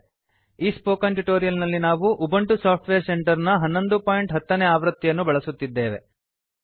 ಈ spoken tutorial ನಲ್ಲಿ ನಾವು ಉಬಂಟು ಸಾಫ್ಟ್ವೇರ್ ಸೆಂಟರ್ ನ 1110 ನೇ ಆವೃತ್ತಿಯನ್ನು ಬಳಸುತ್ತಿದ್ದೇವೆ